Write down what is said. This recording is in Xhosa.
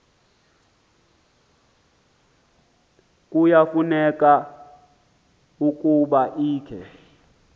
kuyafuneka ukuba ikhe